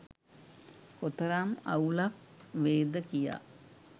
කොතරම් අවුලක් වේද කියා